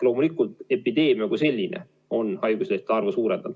Loomulikult on epideemia haiguslehtede arvu suurendanud.